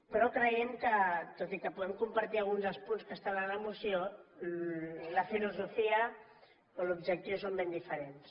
però creiem que tot i que puguem compartir algun dels punts que estan a la moció la filosofia o l’objectiu són ben diferents